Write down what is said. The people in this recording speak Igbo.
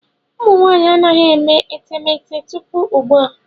Ụmụ nwanyị anaghị eme etemeete tupu ugbu a.